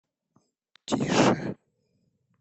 тише